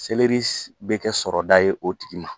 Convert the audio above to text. Selri bɛ kɛ sɔrɔda ye o tigi ma.